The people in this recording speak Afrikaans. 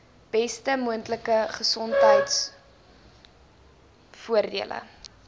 beste moontlike gesondheidsorgvoordele